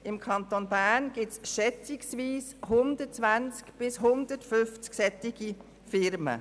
Im Kanton Bern gibt es schätzungsweise 120 bis 150 derartige Firmen.